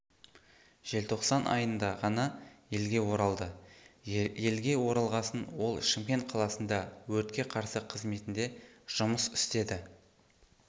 желтоқсан айында ғана елге оралды елге оралғасын ол шымкент қаласында өртке қарсы қызметінде жұмыс істеді